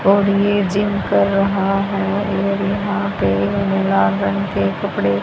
और ये जिम कर रहा है और यहां पे लाल रंग के कपड़े--